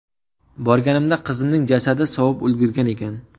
Borganimda qizimning jasadi sovib ulgurgan ekan.